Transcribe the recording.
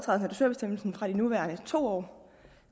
dusørbestemmelsen fra de nuværende to år